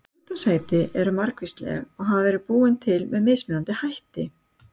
Sjúkdómaheiti eru margvísleg og hafa verið búin til með mismunandi hætti.